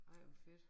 Ej hvor fedt